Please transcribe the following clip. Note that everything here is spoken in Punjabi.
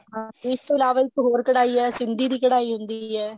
ਹਾਂ ਇਸ ਤੋਂ ਇਲਾਵਾ ਇੱਕ ਹੋਰ ਕਢਾਈ ਹੈ ਸਿੰਧੀ ਦੀ ਕਢਾਈ ਹੁੰਦੀ ਹੈ